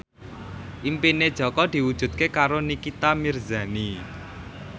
impine Jaka diwujudke karo Nikita Mirzani